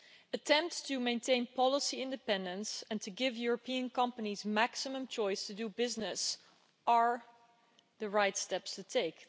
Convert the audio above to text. Attempts to maintain policy independence and to give European companies maximum choice to do business are the right steps to take